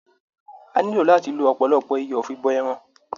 A ò nílò láti lo ọ̀pọ̀lọpọ̀ iyọ̀ fi bọ ẹran.